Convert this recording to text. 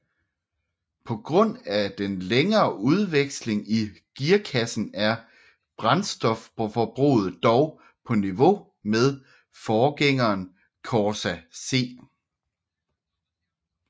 På grund af den længere udveksling i gearkassen er brændstofforbruget dog på niveau med forgængeren Corsa C